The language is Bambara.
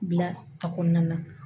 Bila a kɔnɔna na